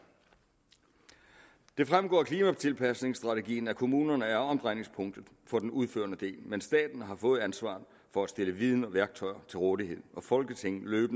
det fremgår af klimatilpasningsstrategien at kommunerne er omdrejningspunktet for den udførende del men staten har fået ansvaret for at stille viden og værktøjer til rådighed og folketinget